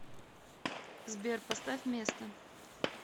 сбер поставь место